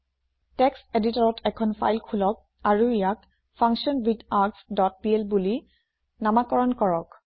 text এদিতৰত এখন file খোলক আৰু ইয়াক ফাংচনৱিথাৰ্গছ ডট পিএল বুলি নামাকৰণ কৰক